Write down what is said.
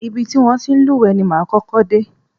Ibi ti wọn ti ń lúwẹ̀ẹ́ ni máa kọ́kọ́ dé.